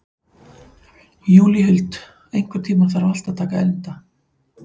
Júlíhuld, einhvern tímann þarf allt að taka enda.